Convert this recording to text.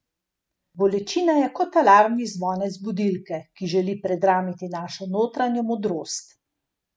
Bolečina je kot alarmni zvonec budilke, ki želi predramiti našo notranjo modrost.